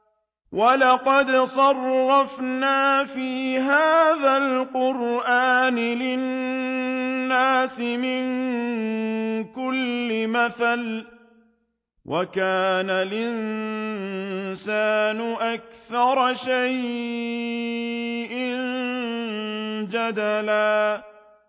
وَلَقَدْ صَرَّفْنَا فِي هَٰذَا الْقُرْآنِ لِلنَّاسِ مِن كُلِّ مَثَلٍ ۚ وَكَانَ الْإِنسَانُ أَكْثَرَ شَيْءٍ جَدَلًا